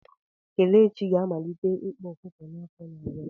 Kelechi ga-amalite ịkpa ọkụkọ ya n'afọ na-abịa.